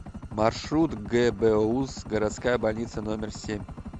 маршрут гбуз городская больница номер семь